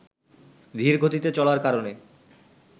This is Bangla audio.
ধীরগতিতে চলার কারণে